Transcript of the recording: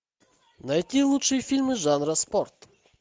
найти лучшие фильмы жанра спорт